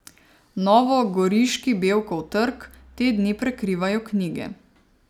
Novogoriški Bevkov trg te dni prekrivajo knjige.